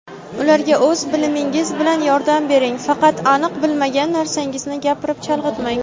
ularga o‘z bilimingiz bilan yordam bering (faqat aniq bilmagan narsangizni gapirib, chalg‘itmang).